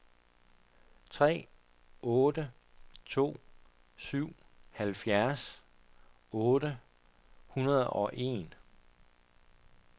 tre otte to syv halvfjerds otte hundrede og en